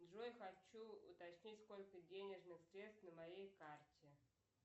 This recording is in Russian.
джой хочу уточнить сколько денежных средств на моей карте